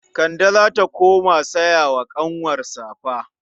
Kande za ta kuma saya wa ƙanwar safa.